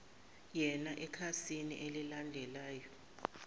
yana ekhasini elilandelayo